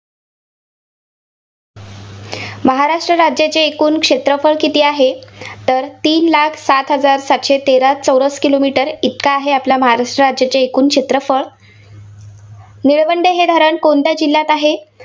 महाराष्ट्र राज्याचे एकूण क्षेत्रफळ किती आहे, तर तीन लाख सात हजार सातशे तेरा चौरस kilometer इतका आहे, आपल्या महाराष्ट्र राज्याचे एकूण क्षेत्रफळ. निळवंडे हे धरण कोणत्या जिल्ह्यात आहे.